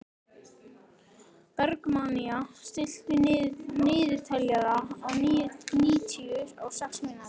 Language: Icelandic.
Bergmannía, stilltu niðurteljara á níutíu og sex mínútur.